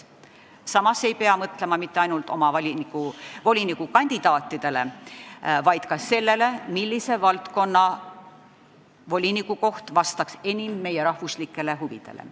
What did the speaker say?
Samas ei pea mõtlema mitte ainult oma volinikukandidaatidele, vaid ka sellele, millise valdkonna voliniku koht vastaks enim meie riigi huvidele.